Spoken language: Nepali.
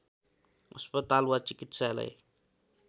अस्पताल वा चिकित्सालय